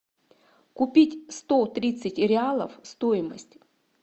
купить сто тридцать реалов стоимость